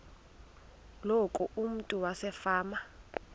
loku umntu wasefama